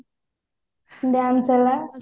dance ହେଲା